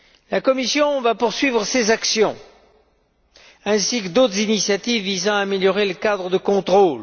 La Commission va poursuivre ces actions ainsi que d'autres initiatives visant à améliorer le cadre de contrôle.